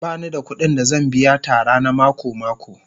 Ba ni da kuɗin da zan biya Tara na mako-mako